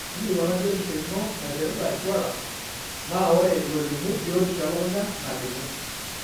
ingilikuana biotisho ino naipirta insurance na ore ilolimu biotisho elukunya nalimu.